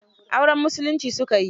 Auren musulmi su ka yi.